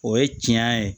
O ye tiɲɛ ye